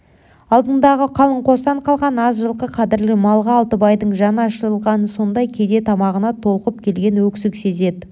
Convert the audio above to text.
алдындағы қалың қостан қалған аз жылқы қадірлі малға алтыбайдың жаны ашығаны сондай кейде тамағына толқып келген өксік сезеді